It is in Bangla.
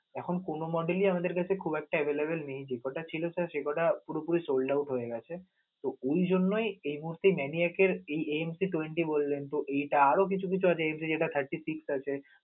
এখন কোন model ই আমাদের কাছে খুব একটা available নেই যেকটা ছিল sir সে কটা পুরোপুরি sold out হয়ে গেছে, তো ওই জন্যই এই মুহূর্তে many একের এই MC twenty পর্যন্ত, এটা আরও কিছু আছে, সেটা thirty six আছে.